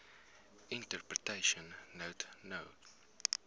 interpretation note no